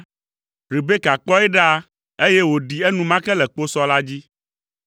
Rebeka kpɔe ɖa, eye wòɖi enumake le kposɔ la dzi.